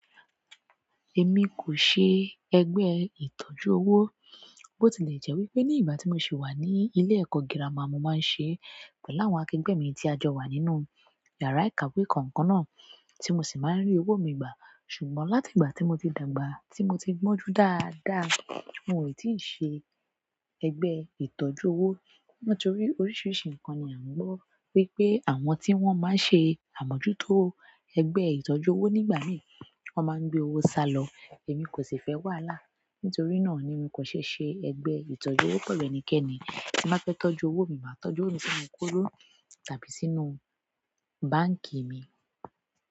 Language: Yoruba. Èmi kò ṣe ẹgbẹ́ ìtọ́jú owó, bó ti lè jẹ́ wípé ní ìgbà tí mo sì wà ní ilé ẹ̀kọ́ gírámà mo máa ń ṣe pẹ̀lú àwọn akẹgbẹ́ mi tí a jọ wà nínú yàrá ìkàwé kankan náà, tí mo sì máa ń rí owó mi gbà. Ṣùgbọ́n láti ìgbà tí mo ti dàgbà, tí mo ti gbọ́njú dáadáa, mi ò tíì ṣe ẹgbẹ́ ìtọ́jú owó. Nítorí oríṣiríṣi nǹkan ni a ń gbọ́ wípé àwọn tí wọ́n máa ń ṣe àmójútó ẹgbẹ́ ìtọ́jú owó nígbà mí, wọ́n máa ń gbé owó sálọ. Èmi kò sì fẹ́ wàhálà. Nítorí náà ni nko se se egbe ìtọ́jú owo pẹ̀lú ẹnikẹ́ni tí n bá fẹ́ tọ́jú owó mi, màá tọ́jú òwo mi sínú kolò tàbí sínú báǹkì mi.